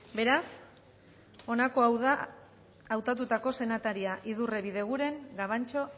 beraz honako hau da hautatutako senataria idurre bideguren gabantxo